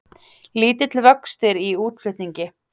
Lítill vöxtur í útflutningi